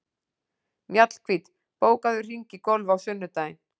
Mjallhvít, bókaðu hring í golf á sunnudaginn.